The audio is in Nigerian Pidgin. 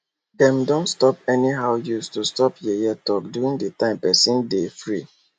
dem don stop anyhow use to stop yeye talk during d time person be de free